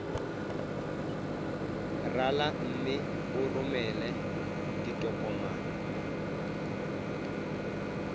rala mme o romele ditokomene